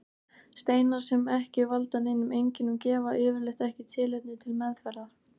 Steinar sem ekki valda neinum einkennum gefa yfirleitt ekki tilefni til meðferðar.